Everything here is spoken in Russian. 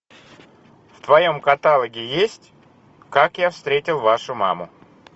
в твоем каталоге есть как я встретил вашу маму